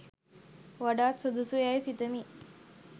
වඩාත් සුදුසු යැයි සිතමි.